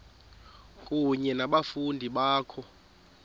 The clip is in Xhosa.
kunye nabafundi bakho